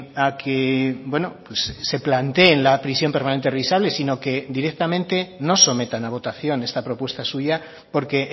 a que se planteen la prisión permanente revisable sino que directamente no sometan a votación esta propuesta suya porque